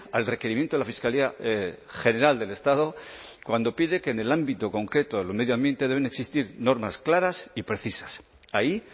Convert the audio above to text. al requerimiento de la fiscalía general del estado cuando pide que en el ámbito concreto del medio ambiente deben existir normas claras y precisas ahí